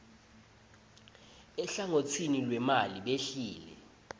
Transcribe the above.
eluhlangotsini lwemali behlile